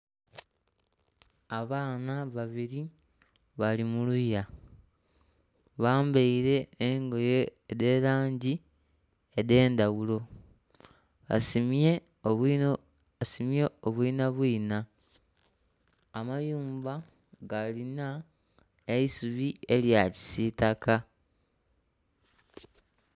Abaana ababiri bali muluya, bambaire engoye edhe langi edhe endhaghulo basimbye obwina bwina, amayumba galinha eisubi erya kisitaka.